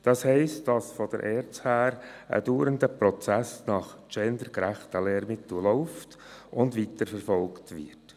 Das heisst, dass vonseiten der ERZ ein dauernder Prozess hinsichtlich gendergerechter Lehrmittel läuft und weiterverfolgt wird.